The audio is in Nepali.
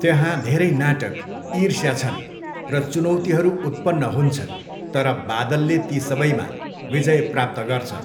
त्यहाँ धेरै नाटक, ईर्ष्या छन् र चुनौतीहरू उत्पन्न हुन्छन् तर बादलले ती सबैमा विजय प्राप्त गर्छ।